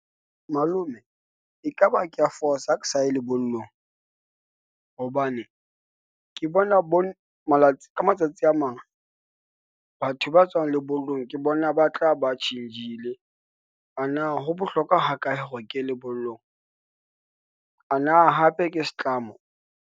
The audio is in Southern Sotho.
Malome ekaba ke a fosa ha ke sa ye lebollong, hobane ke bona ka matsatsi a mang, batho ba tswang lebollong ke bona ba tla ba change-le. A na ho bohlokwa ha kae hore ke lebollong, a na hape ke setlamo.